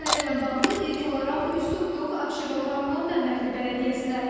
Məsələ ilə bağlı ilk olaraq üz tutduq Abşeron rayonu Məmmədli bələdiyyəsinə.